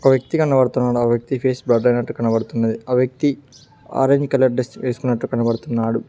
ఓక వ్యక్తి కనబడుతున్నాడు ఆ వ్యక్తి ఫేస్ బ్లర్ అయినట్టు కనబడుతున్నది ఆ వ్యక్తి ఆరెంజ్ కలర్ డ్రెస్ వేసుకున్నట్టు కనబడుతున్నాడు.